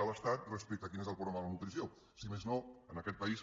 de l’estat respecte a quin és el problema de la nutrició si més no en aquest país